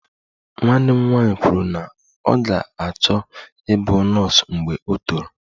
Nwanne m nwanyị kwuru na ọ ga-achọ ịbụ nọọsụ mgbe o toro